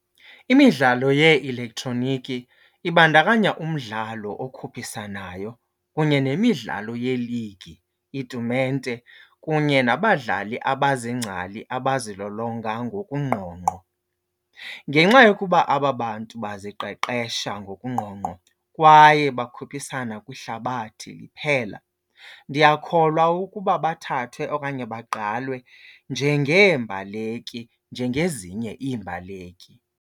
Imidlalo yee-elektroniki ibandakanya umdlalo okhuphisanayo kunye nemidlalo yeeligi, iitumente kunye nabadlali abaziingcali abazilolonga ngokungqongqo. Ngenxa yokuba aba bantu baziqeqesha ngokungqongqo kwaye bakhuphisana kwihlabathi liphela, ndiyakholwa ukuba bathathwe okanye bagqalwe njengeembaleki, njengezinye iimbaleki.